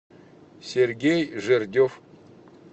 сергей жердев